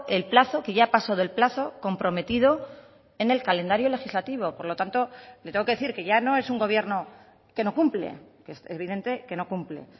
el plazo que ya ha pasado el plazo comprometido en el calendario legislativo por lo tanto le tengo que decir que ya no es un gobierno que no cumple que es evidente que no cumple